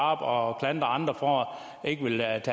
og klandrer andre for ikke at